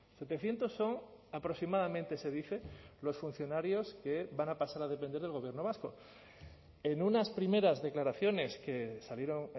setecientos son aproximadamente se dice los funcionarios que van a pasar a depender del gobierno vasco en unas primeras declaraciones que salieron